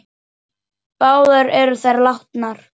Báðar eru þær látnar.